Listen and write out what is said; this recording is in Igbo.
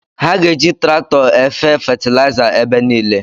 Ha ga-eji traktọ efe fetiliza ebe niile